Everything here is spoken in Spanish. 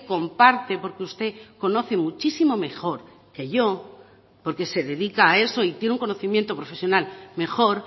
comparte porque usted conoce muchísimo mejor que yo porque se dedica a eso y tiene un conocimiento profesional mejor